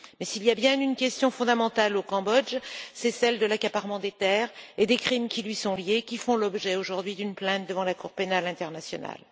Mais s'il y a bien une question fondamentale au Cambodge, c'est celle de l'accaparement des terres et des crimes qui y sont liés, qui font l'objet aujourd'hui d'une plainte devant la Cour pénale internationale.